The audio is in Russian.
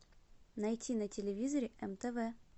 найти на телевизоре нтв